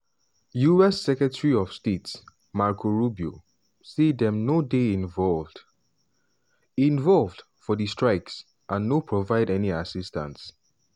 us secretary of state marco rubio say dem no dey involved involved for di strikes and no provide any assistance.